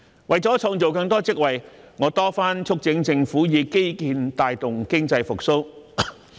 為了創造更多職位，我多番促請政府以基建帶動經濟復蘇。